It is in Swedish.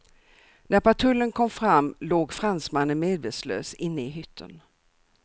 När patrullen kom fram låg fransmannen medvetslös inne i hytten.